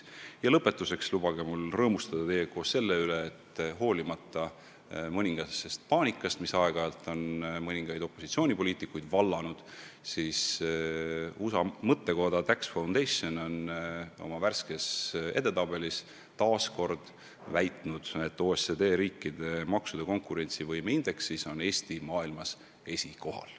Ja lõpetuseks lubage mul rõõmustada teiega koos selle üle, et hoolimata mõningasest paanikast, mis aeg-ajalt on mõningaid opositsioonipoliitikuid vallanud, on USA mõttekoda Tax Foundation oma värskes edetabelis taas kinnitanud, et OECD riikide maksude konkurentsivõime indeksis on Eesti maailmas esikohal.